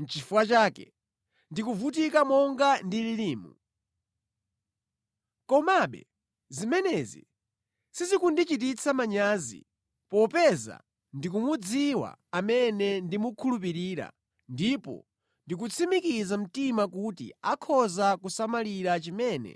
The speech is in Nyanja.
Nʼchifukwa chake ndikuvutika monga ndililimu. Komabe zimenezi sizikundichititsa manyazi, popeza ndikumudziwa amene ndamukhulupirira ndipo ndikutsimikiza mtima kuti akhoza kusamalira chimene